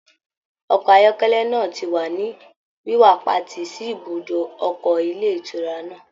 Ọkọ ayọkẹlẹ náà ti wa ni wiwapati sí ibùdó ọkọ ilé ìtura náà.